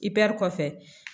I bɛ kɔfɛ